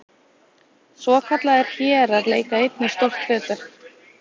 Svokallaðir hérar leika einnig stórt hlutverk.